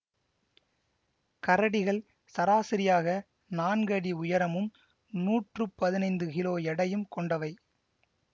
கரடிகள் சராசரியாக நான்கு அடி உயரமும் நூற்று பதினைந்து கிலோ எடையும் கொண்டவை